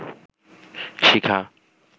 শিখা